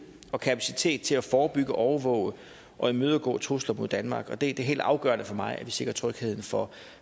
og kapacitet til at forebygge overvåge og imødegå trusler mod danmark og det er helt afgørende for mig at vi sikrer trygheden for